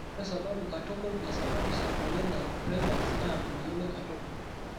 Ore sababu katukul naisababisha emoyian e Freiberg's naa meyioloi katukul